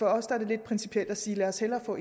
os er det lidt principielt at sige lad os hellere få